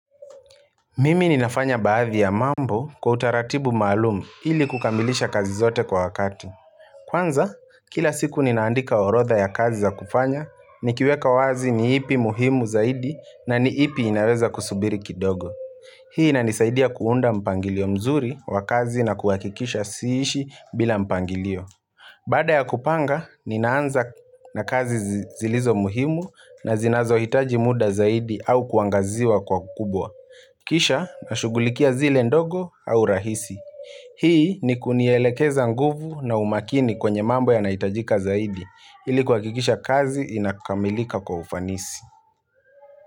Mimi ninafanya baadhi ya mambo kwa utaratibu maalumu ili kukamilisha kazi zote kwa wakati Kwanza, kila siku ninaandika orodha ya kazi za kufanya Nikiweka wazi ni ipi muhimu zaidi na ni ipi inaweza kusubiri kidogo Hii inanisaidia kuunda mpangilio mzuri wa kazi na kuhakikisha siishi bila mpangilio Baada ya kupanga, ninaanza na kazi zilizo muhimu na zinazo hitaji muda zaidi au kuangaziwa kwa ukubwa Kisha na shughulikia zile ndogo au rahisi Hii ni kunielekeza nguvu na umakini kwenye mambo yanayohitajika zaidi ili kuha kikisha kazi inakamilika kwa ufanisi.